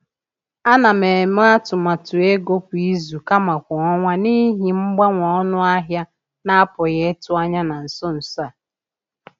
A na m eme atụmatụ ego kwa izu kama kwa ọnwa n’ihi mgbanwe ọnụ ahịa na-apụghị ịtụ anya na nso nso a.